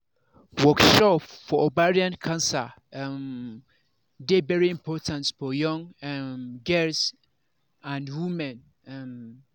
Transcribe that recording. workshop for ovarian cancer um dey very important for young um girls and women um